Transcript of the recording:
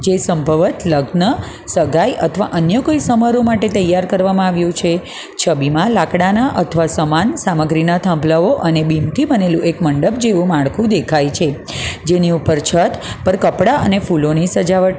જે સંભવત લગ્ન સગાઈ અથવા અન્ય કોઈ સમારોહ માટે તૈયાર કરવામાં આવ્યું છે છબીમાં લાકડાના અથવા સમાન સામગ્રીના થાંભલાઓ અને બિમ થી બનેલુ એક મંડપ જેવું માળખું દેખાય છે જેની ઉપર છત પર કપડાં અને ફૂલોની સજાવટ --